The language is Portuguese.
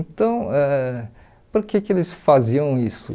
Então, ãh por que que eles faziam isso?